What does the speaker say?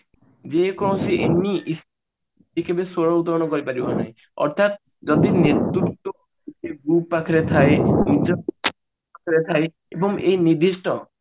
ଯେ କୌଣସି any ସ୍ଵର ଉତ୍ତୋଳନ କରି ପାରି ଥାଏ ଅର୍ଥାତ ଯଦି ନେତୃତ୍ଵ ପାଖରେ ଥାଏ ଏବଂ ଏଇ ନିର୍ଦିଷ୍ଟ